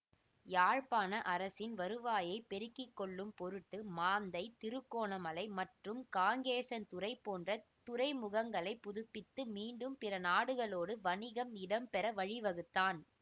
யாழ்ப்பாண அரசின் வருவாயை பெருக்கி கொள்ளும் பொருட்டு மாந்தை திருகோணமலை மற்றும் காங்கேசன்துறை போன்ற துறைமுகங்களை புதுப்பித்து மீண்டும் பிற நாடுகளோடு வணிகம் இடம்பெற வழி வகுத்தான்